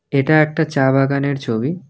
এটা একটা চা বাগানের ছবি।